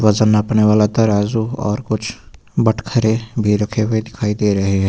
वजन नापने वाला तराजू और कुछ बटखड़े भी रखे हुए दिखाई दे रहे है।